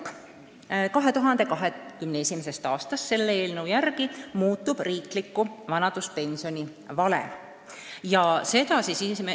Selle eelnõu järgi alates 2021. aastast riikliku vanaduspensioni valem muutub.